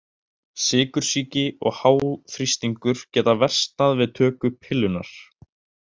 Sykursýki og háþrýstingur geta versnað við töku pillunnar.